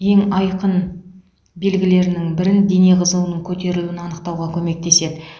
ең айқын белгілерінің бірін дене қызуының көтерілуін анықтауға көмектеседі